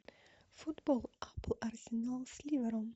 футбол апл арсенал с ливером